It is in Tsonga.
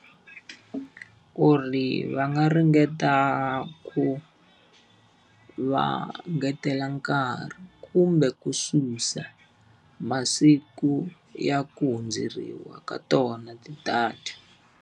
Ku ri va nga ringeta ku va ngetela nkarhi kumbe ku susa masiku ya ku hundzeriwa ka tona ti-data.